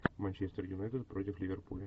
манчестер юнайтед против ливерпуля